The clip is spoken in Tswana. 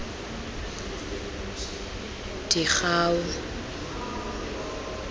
digau